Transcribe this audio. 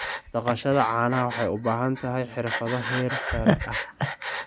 Dhaqashada caanaha waxay u baahan tahay xirfado heer sare ah.